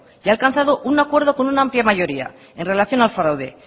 y ha alcanzado un acuerdo con una amplia mayoría en relación al fraude